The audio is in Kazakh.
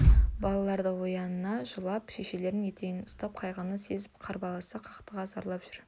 балалар да ояна жылап шешелерінің етегінен ұстап қайғыны сезіп қарбаласа қақтыға зарлап жүр